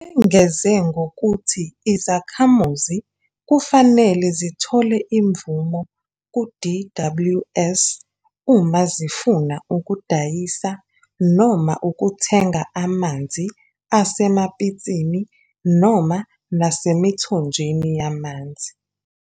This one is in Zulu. Lengeze ngokuthi izakhamuzi kufanele zithole imvume ku-DWS uma zifuna ukudayisa noma ukuthenga amanzi asemapitsini noma nasemithonjeni yamanzi.